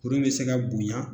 Kuru in bɛ se ka bonya